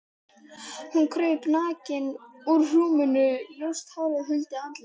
Hún kraup nakin á rúminu, ljóst hárið huldi andlitið.